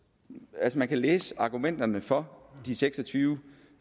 altså man kan læse argumenterne for de seks og tyve